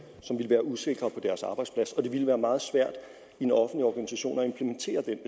som ville være usikre på deres arbejdsplads og det ville være meget svært i en offentlig organisation at implementere den